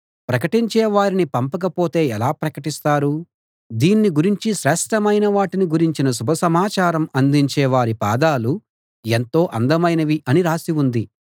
ప్రకటించే వారిని పంపకపోతే ఎలా ప్రకటిస్తారు దీన్ని గురించి శ్రేష్ఠమైన వాటిని గురించిన శుభ సమాచారం అందించే వారి పాదాలు ఎంతో అందమైనవి అని రాసి ఉంది